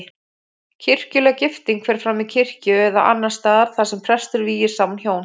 Kirkjuleg gifting fer fram í kirkju eða annars staðar þar sem prestur vígir saman hjón.